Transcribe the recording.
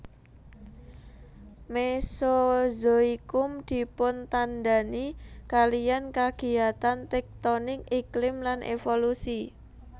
Mesozoikum dipuntandhani kaliyan kagiyatan tektonik iklim lan evolusi